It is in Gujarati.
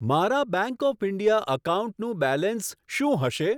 મારા બેંક ઓફ ઇન્ડિયા એકાઉન્ટનું બેલેન્સ શું હશે?